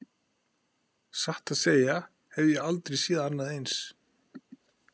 Satt að segja hef ég aldrei séð annað eins.